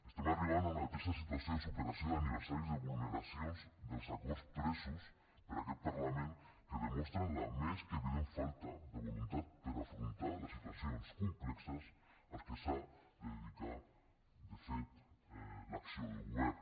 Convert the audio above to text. estem arribant a una trista situació de superació d’aniversaris de vulneracions dels acords presos per aquest parlament que demostren la més que evident falta de voluntat per afrontar les situacions complexes a les que s’ha de dedicar de fet l’acció de govern